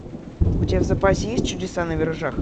у тебя в запасе есть чудеса на виражах